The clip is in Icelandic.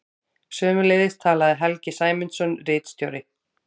Sömuleiðis talaði Helgi Sæmundsson ritstjóri.